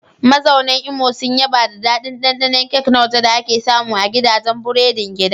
Mazaunan Imo sun yaba da daɗin ɗanɗanon kek na waje da ake samu a gidajen burodin gida.